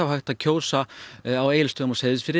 hægt að kjósa á Egilsstöðum og Seyðisfirði